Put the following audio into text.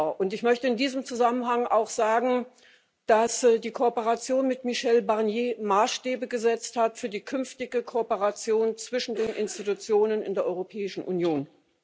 Und ich möchte in diesem Zusammenhang auch sagen, dass die Kooperation mit Michel Barnier Maßstäbe gesetzt hat für die künftige Kooperation zwischen den Institutionen in der Europäischen Union.